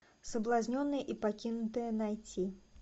соблазненная и покинутая найти